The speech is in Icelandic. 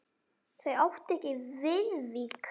Þau áttu ekki Viðvík.